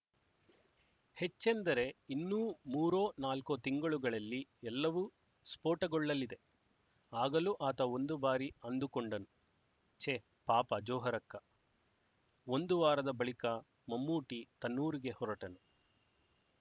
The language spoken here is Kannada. ಹೆಚ್ಚೆಂದರೆ ಇನ್ನೂ ಮೂರೊ ನಾಲ್ಕೊ ತಿಂಗಳುಗಳಲ್ಲಿ ಎಲ್ಲವೂ ಸ್ಫೋಟಗೊಳ್ಳಲಿದೆ ಆಗಲೂ ಆತ ಒಂದು ಬಾರಿ ಅಂದುಕೊಂಡನು ಛೆ ಪಾಪ ಜೊಹರಕ್ಕ ಒಂದು ವಾರದ ಬಳಿಕ ಮಮ್ಮೂಟಿ ತನ್ನೂರಿಗೆ ಹೊರಟನು